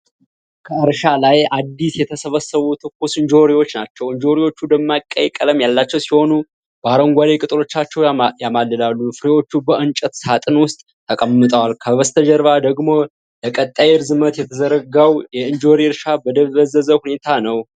ከእርሻ ላይ አዲስ የተሰበሰቡ ትኩስ እንጆሪዎች ናቸው። እንጆሪዎቹ ደማቅ ቀይ ቀለም ያላቸው ሲሆን በአረንጓዴ ቅጠሎቻቸው ያማልላሉ። ፍሬዎቹ በእንጨት ሳጥን ውስጥ ተቀምጠዋል፣ ከበስተጀርባ ደግሞ ለቀጣይ ርዝመት የተዘረጋው የእንጆሪ እርሻ በደበዘዘ ሁኔታ ነው።